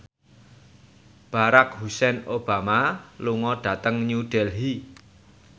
Barack Hussein Obama lunga dhateng New Delhi